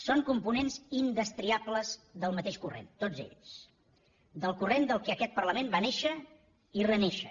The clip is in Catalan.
són components indestriables del mateix corrent tots ells del corrent del qual aquest parlament va néixer i renéixer